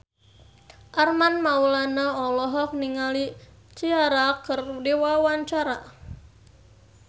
Armand Maulana olohok ningali Ciara keur diwawancara